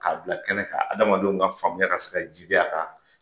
Ka bila kɛnɛ kan adamadenw ka faamuya ka se ka jidi a kan.